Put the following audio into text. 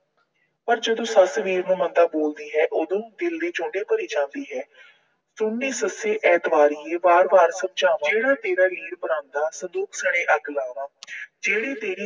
ਪਰ ਸੱਸ ਜਦੋਂ ਵੀਰ ਨੂੰ ਮੰਦਾ ਬੋਲਦੀ ਹੈ ਉਦੋਂ ਦਿਲ ਦੇ ਚੁੰਡੇ ਭਰੀ ਜਾਂਦੀ ਹੈ। ਸੁਣ ਨੀ ਸੱਸੇ ਵਾਰ-ਵਾਰ ਸਮਝਾਵਾਂ, ਜਿਹੜਾ ਤੇਰਾ ਵੀਰ ਬਣਾਉਂਦਾ, ਸੰਦੂਕ ਸਣੇ ਅੱਗ ਲਾਵਾਂ। ਜਿਹੜੇ ਤੇਰੀ